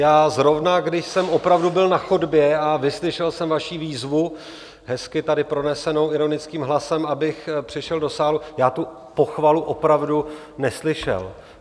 Já zrovna, když jsem opravdu byl na chodbě a vyslyšel jsem vaši výzvu, hezky tady pronesenou ironickým hlasem, abych přišel do sálu, já tu pochvalu opravdu neslyšel.